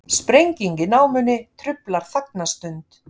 Sprenging í námunni truflar þagnarstund